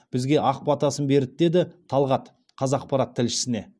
бізге ақ батасын берді деді талғат қазақпарат тілшісіне